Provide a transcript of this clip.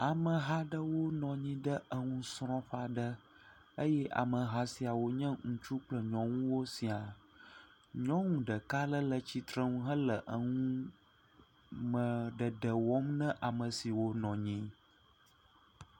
Ameha ɖe nɔ anyi ɖe nusrɔ̃ƒe aɖe eye ame hã siawo nye ŋutsu kple nyɔnu sĩa. Nyɔnu ɖeka aɖe le tsitre he nume ɖeɖe wɔm nɛ ame siwo nɔ anyi.